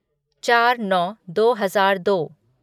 चार नौ दो हजार दो